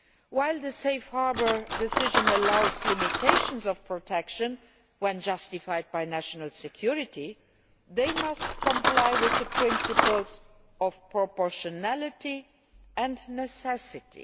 While the Safe Harbour decision allows limitations of protection when justified by national security, they must comply with the principles of proportionality and necessity.